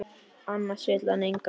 Annars vill hann engan sjá.